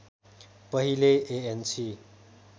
पहिले एएनसी